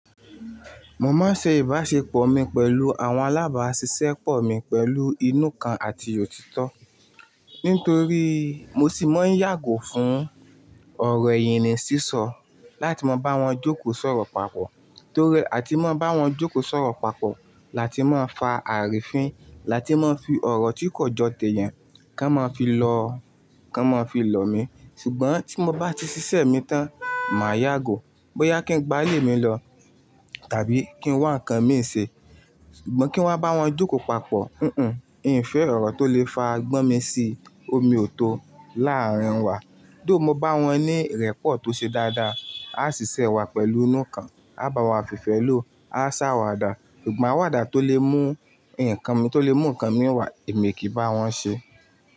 Mo máa ń ṣe ìbáṣepọ̀ mi pẹ̀lú àwọn alábàáṣiṣẹ́ pọ̀ mi pẹ̀lú inú kan àti òtítọ́. Nítorí mo sì máa ń yàgò fún ọ̀rọ̀ ìyin ni ṣíṣọ láti máa bá wọn jókòó sọ̀rọ̀ papọ̀, torí àti máa bá wọn jókòó sọ̀rọ̀ papọ̀ la ti máa fa àrífin, la ti máa fi ọ̀rọ̀ tí kò jọ tẹ eeyan kan máa fi lọ, kan máa fi lọ̀ mí. Ṣùgbọ́n tí mo bá ti ṣiṣẹ́ mi tán, màá yàgò bóyá kí n gba ilé mi lọ tàbí kí n wá ǹnkan mi ṣe. Ṣùgbọ́n kí n wá bá wọn jókó papọ̀, mm-mm, ì ń fẹ́ ọ̀rọ̀ tó lè fa gbọ́n mi sí omi ò tó láàrín wa. Tho mo bá wọn ní ìrẹ́pọ̀ tó ṣe dáadáa, á ṣiṣẹ́ wa pẹ̀lú inú kan, á bá wa fìfẹ́ lò, á ṣàwàdà, ṣùgbọ́n àwàdà tó lè mú ǹnkan mi tó lè mú ǹnkan mi wà, èmi kì í bá wọn ṣe.